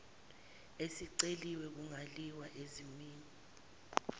esiceliwe kungaliwa ezimeni